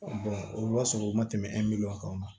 o b'a sɔrɔ u ma tɛmɛ kan